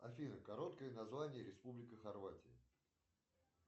афина короткое название республика хорватия